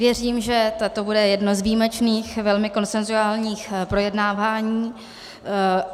Věřím, že toto bude jedno z výjimečných velmi konsenzuálních projednávání.